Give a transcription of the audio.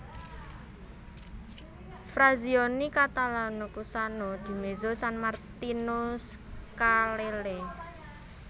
Frazioni Catalano Cusano Di Mezzo San Martino Scalelle